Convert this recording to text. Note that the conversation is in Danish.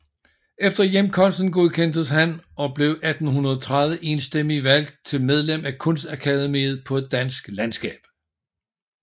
Efter hjemkomsten godkendes han og blev 1830 enstemmig valgt til medlem af Kunstakademiet på et dansk landskab